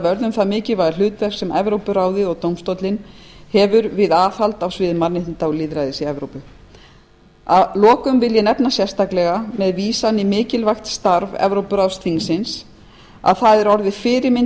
getur það bitnað á því mikilvæga hlutverki sem evrópuráðið hefur við hagsmunagæslu og aðhald á sviði mannréttinda og lýðræðis að lokum vil ég nefna sérstaklega með vísan í mikilvægt starf evrópuráðsþingsins að það er orðið fyrirmynd